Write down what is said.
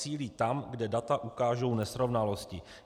Zacílí tam, kde data ukážou nesrovnalosti."